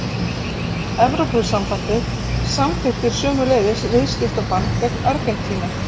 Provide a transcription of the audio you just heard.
Evrópusambandið samþykkti sömuleiðis viðskiptabann gegn Argentínu.